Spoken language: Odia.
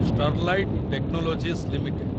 Sterlite technologies limited